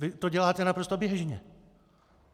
Vy to děláte naprosto běžně.